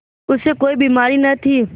उसे कोई बीमारी न थी